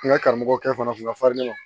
N ka karamɔgɔ kɛ fana kun ka farin ne ma